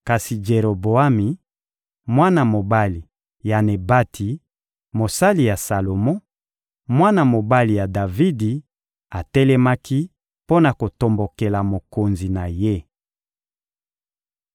Kasi Jeroboami, mwana mobali ya Nebati, mosali ya Salomo, mwana mobali ya Davidi, atelemaki mpo na kotombokela mokonzi na ye.